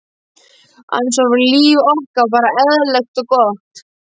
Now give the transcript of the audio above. annars var líf okkar bara eðlilegt og gott.